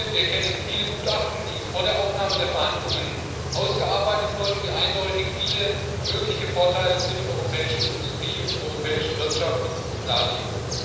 Wir kennen viele Gutachten, die vor der Aufnahme der Verhandlungen ausgearbeitet wurden und die eindeutig viele mögliche Vorteile für die europäische Industrie und die europäische Wirtschaft darlegen.